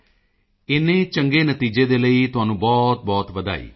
ਮੋਦੀ ਜੀ ਇੰਨੇ ਚੰਗੇ ਨਤੀਜੇ ਦੇ ਲਈ ਤੁਹਾਨੂੰ ਬਹੁਤਬਹੁਤ ਵਧਾਈ